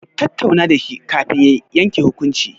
Ku tattauna da shi kafin ki yanke hukunci.